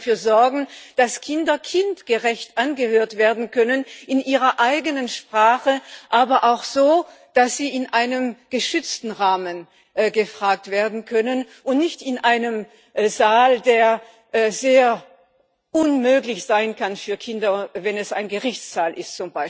Wir müssen dafür sorgen, dass Kinder kindgerecht angehört werden können, in ihrer eigenen Sprache, aber auch so, dass sie in einem geschützten Rahmen gefragt werden können und nicht in einem Saal, der sehr unmöglich sein kann für Kinder, wenn es zum Beispiel ein Gerichtssaal ist.